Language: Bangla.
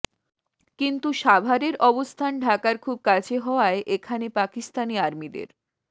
কিন্তু সাভারের অবস্থান ঢাকার খুব কাছে হওয়ায় এখানে পাকিস্তানি আর্মিদের